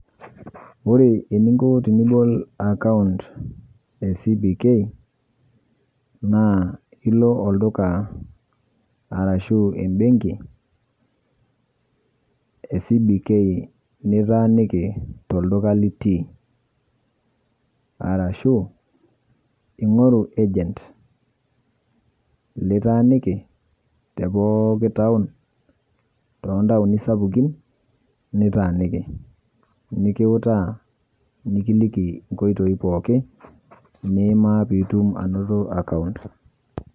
Ore eninko tenibol akaunt e CBK, naa ilo olduka arashu ebenki e CBK nitaaniki tolduka litii. Arashu, ing'oru agent litaaniki tepooki taon, tontaoni sapukin nitaaniki. Nikiutaa, nikiliki nkoitoi pookin, nimaa pitum anoto akaunt.